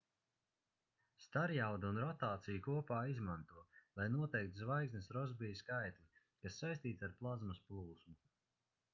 starjaudu un rotāciju kopā izmanto lai noteiktu zvaigznes rosbija skaitli kas saistīts ar plazmas plūsmu